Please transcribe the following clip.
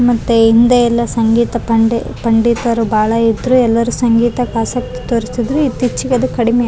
ಈ ಚಿತ್ರದಲ್ಲಿ ನೋಡಬಹುದದ್ದಾರೆ ಇಲ್ಲಿ ಒಂದು ಪಿಯಾನೊ ಕಾಣಿಸಲು ಬರುತ್ತಿದೆ ಮತ್ತು ಎರಡು ಬ್ಯಾಗುಗಳು ಕಾಣಿಸಲು ಬರುತ್ತಿದೆ.